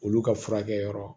Olu ka furakɛ yɔrɔ